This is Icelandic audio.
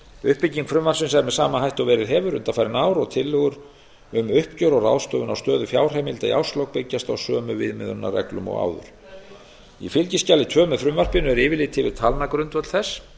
uppbygging frumvarpsins er með sama hætti og verið hefur undanfarin ár og tillögur um uppgjör og ráðstöfun á stöðu fjárheimilda í árslok byggjast á sömu viðmiðunarreglum og áður í fylgiskjali tvö með frumvarpinu er yfirlit yfir talnagrundvöll þess